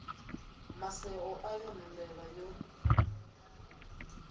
maseo a yone mbevha yo